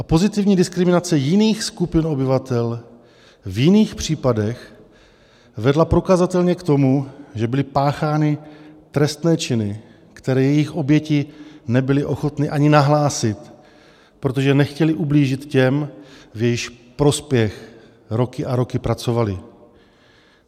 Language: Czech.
A pozitivní diskriminace jiných skupin obyvatel v jiných případech vedla prokazatelně k tomu, že byly páchány trestné činy, které jejich oběti nebyly ochotny ani nahlásit, protože nechtěly ublížit těm, v jejichž prospěch roky a roky pracovaly.